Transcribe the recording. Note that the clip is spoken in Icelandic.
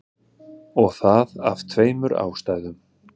Og það af tveimur ástæðum.